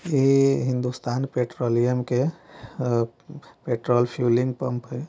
ये हिंदुस्तान पेट्रोलियम के uh petrol fuelling pump है।